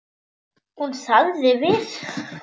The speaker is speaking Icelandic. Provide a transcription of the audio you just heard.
Hún þagði við.